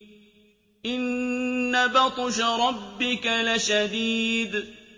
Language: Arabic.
إِنَّ بَطْشَ رَبِّكَ لَشَدِيدٌ